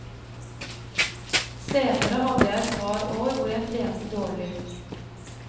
Senere hadde jeg et par år hvor jeg trente dårlig.